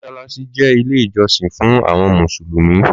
Mọṣàláṣí jẹ ìlé ìjọsin fún àwon músùlúmì.